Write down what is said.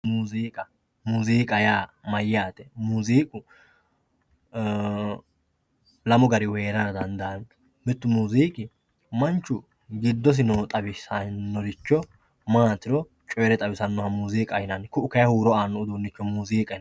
Muuziiqa muziiqa yaa mayyaate? Muziiqu lamu garihu heerara dandaanno mittu muziiqi manchu gdidosi noore xawisannoha maatiro xawisahnnao muuziiqaho yinanni ku'u kayeenni huuro aannoha muuziiqaho yinanni